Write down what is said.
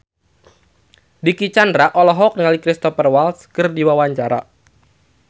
Dicky Chandra olohok ningali Cristhoper Waltz keur diwawancara